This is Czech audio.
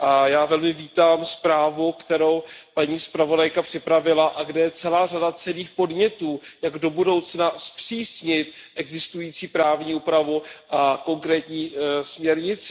Já velmi vítám zprávu, kterou paní zpravodajka připravila a kde je celá řada cenných podnětů, jak do budoucna zpřísnit existující právní úpravu a konkrétní směrnici.